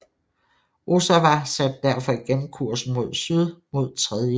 Ozawa satte derfor igen kursen mod syd mod 3